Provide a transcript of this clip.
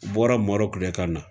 Bɔra Marɔku de ka na.